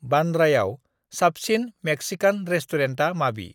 बान्द्रायाव साबसिन मे्कसिकान रेस्टुरेन्टा माबि?